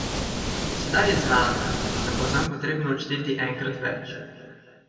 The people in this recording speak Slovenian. Sedaj je znano, da bo zanj potrebno odšteti enkrat več.